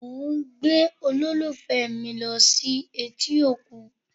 Mo ń gbé olólùfẹ́ mi lọ sí etí òkun